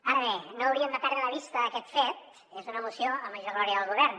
ara bé no hauríem de perdre de vista aquest fet és una moció a major glòria del govern